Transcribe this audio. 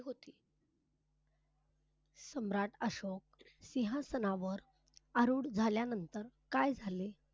सम्राट अशोक सिंहासनावर आरूढ झाल्यानंतर काय झाले?